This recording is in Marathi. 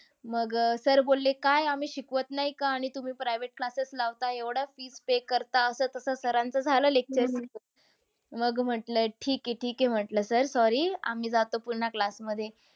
मग अह sir बोलले काय आम्ही शिकवत नाय का? आणि तुम्ही private classes लावताय एवढं fees pay करता असं-तसं झालं sir च lecture मग म्हटलं ठीक आहे, ठीक आहे. म्हटलं sir sorry आम्ही जातो पुन्हा class मध्ये.